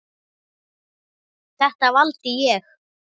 Þetta valdi ég.